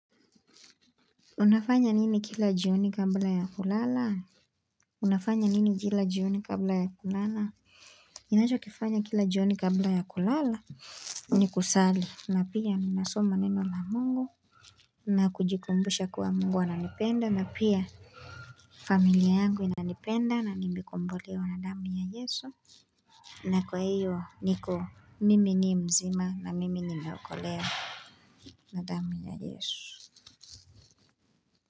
Unafanya nini kila jioni kabla ya kulala? Unafanya nini kila jioni kabla ya kulala? Ninakifanya kila jioni kabla ya kulala? Ni kusali na pia ninasoma neno la Mungu. Na kujikumbusha kuwa Mungu ananipenda na pia familia yangu inanipenda na nimekombolewa na damu ya Yesu. Na kwa hiyo niko mimi ni mzima, na mimi nimeokolewa. Na damu ya Yesu.